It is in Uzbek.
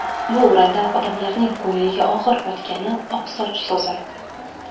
Bu o‘rinda odamlarning ko‘ngliga og‘ir botgani – ‘oqsoch’ so‘zi.